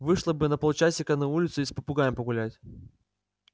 вышла бы на полчасика на улицу с попугаем погулять